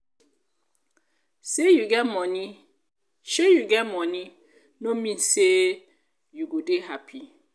sey you get money no mean sey you go dey happy